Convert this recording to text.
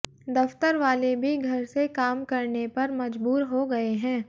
दफ्तर वाले भी घर से काम करने पर मजबूर हो गए हैं